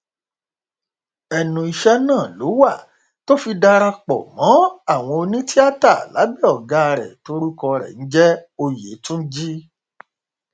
ẹnu iṣẹ náà ló wà tó fi darapọ mọ àwọn onítìata lábẹ ọgá rẹ tórúkọ rẹ ń jẹ òyétúńjì